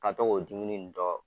Ka to ko dimini dɔ